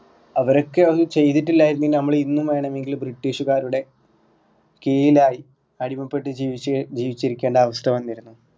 അവരൊക്കെ ഒന്നും ചെയ്തിട്ടില്ലാരുന്നു എങ്കില് നമ്മള് ഇന്നും വേണമെങ്കില് ബ്രിട്ടീഷ്‌കാരുടെ കീഴിലായി അടിമപ്പെട്ടു ജീവിച് ജീവിച്ചിരിക്കേണ്ട അവസ്ഥ വന്നിരുന്നു